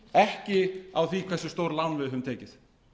ekki á því hversu stór lán við höfum tekið